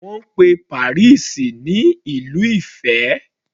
Wọ́n pe Paris ní Ìlú ìfẹ́.